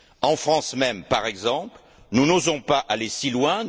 En France même, par exemple, nous n'osons pas aller si loin.